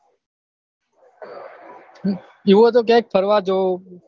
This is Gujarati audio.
એવું હોય તો ક્યાંક ફરવા જો